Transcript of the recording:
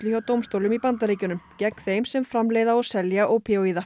hjá dómstólum í Bandaríkjunum gegn þeim sem framleiða og selja ópíóíða